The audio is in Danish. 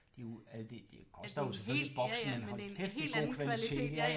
Det er jo altså det det koster jo selvfølgelig boksen men hold kæft det er god kvalitet